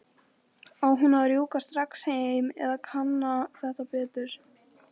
Á hún að rjúka strax heim eða kanna þetta betur?